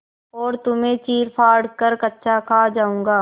और तुम्हें चीरफाड़ कर कच्चा खा जाऊँगा